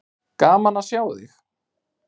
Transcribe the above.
Gaman að sjá þig.